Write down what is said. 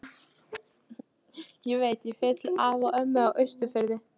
Ég veit, ég fer til afa og ömmu á Austurfirði